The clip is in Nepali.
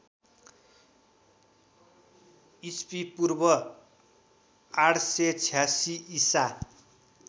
ईपू ८८६ ईसा